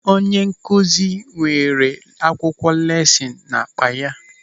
Onye nkụzi weere akwụkwọ lesịnụ n'akpa ya.